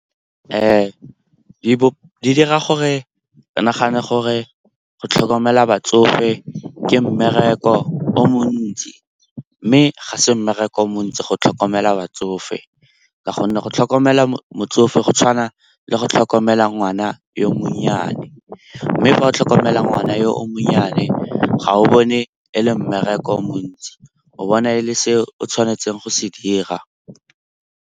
Di dira gore re nagane gore go tlhokomela batsofe ke mmereko o montsi, mme ga se mmereko o montsi go tlhokomela batsofe ka gonne go tlhokomela motsofe go tshwana le go tlhokomela ngwana yo monnyane. Mme fa o tlhokomela ngwana yo o monnyane ga o bone e le mmereko o montsi, o bona e le seo tshwanetseng go se dira.